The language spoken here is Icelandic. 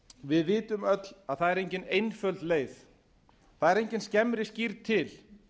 við vitum öll að það er engin einföld leið það er engin skemmri skírn til